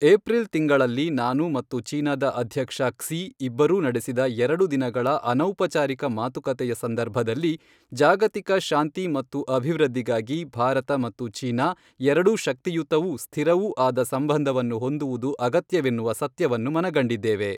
April ತಿಂಗಳಲ್ಲಿ ನಾನು ಮತ್ತು ಚೀನಾದ ಅಧ್ಯಕ್ಷ ಕ್ಸಿ ಇಬ್ಬರೂ ನಡೆಸಿದ ಎರಡು ದಿನಗಳ ಅನೌಪಚಾರಿಕ ಮಾತುಕತೆಯ ಸಂದರ್ಭದಲ್ಲಿ ಜಾಗತಿಕ ಶಾಂತಿ ಮತ್ತು ಅಭಿವೃದ್ಧಿಗಾಗಿ ಭಾರತ ಮತ್ತು ಚೀನಾ ಎರಡೂ ಶಕ್ತಿಯುತವೂ ಸ್ಥಿರವೂ ಆದ ಸಂಬಂಧವನ್ನು ಹೊಂದುವುದು ಅಗತ್ಯವೆನ್ನುವ ಸತ್ಯವನ್ನು ಮನಗಂಡಿದ್ದೇವೆ.